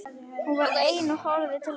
Hún var ein á og horfði til lands.